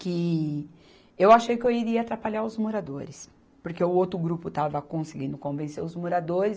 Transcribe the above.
que eu achei que eu iria atrapalhar os moradores, porque o outro grupo estava conseguindo convencer os moradores.